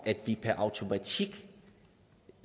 at vi per automatik